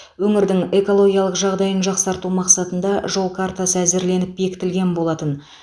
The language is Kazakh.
өңірдің экологиялық жағдайын жақсарту мақсатында жол картасы әзірленіп бекітілген болатын